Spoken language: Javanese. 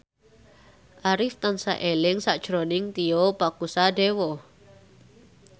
Arif tansah eling sakjroning Tio Pakusadewo